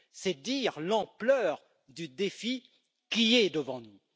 C'est dire l'ampleur du défi qui est devant nous.